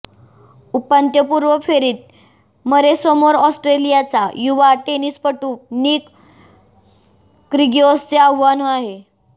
उपांत्यपूर्व फेरीत मरेसमोर ऑस्ट्रेलियाचा युवा टेनिसपटू निक क्रीगिओसचे आव्हान आहे